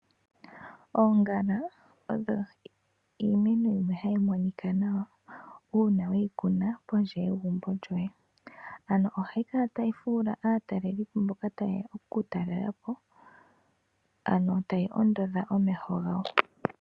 Oongala odho iimeno mbyoka hayi monika nawa una weyi kuna pondje yegumbo lyoye. Ano ohayi kala tayi fuula aatalelipo mboka tayeya okuku talelapo, ano tayi ondodha omeho gawo.